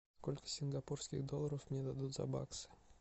сколько сингапурских долларов мне дадут за баксы